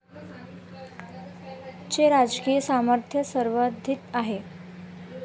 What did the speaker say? चे राजकीय सामर्थ्य सर्वाधिक आहे.